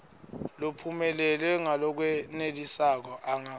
lophumelele ngalokwenelisako anga